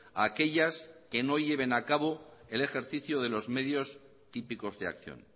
a aquellas que no lleven a cabo el ejercicio de los medios típicos de acción